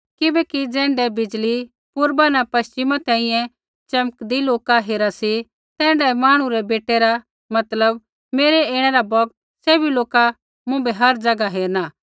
किबैकि ज़ैण्ढै बिजली पूर्वा न पश्चिमा तैंईंयैं च़मकदी लोका हेरा सी तैण्ढाऐ मांहणु रै बेटै रा मतलब मेरै ऐणै रै बौगता सैभी लोका मुँभै हर ज़ैगा हेरणा